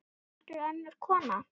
Heldur önnur kona.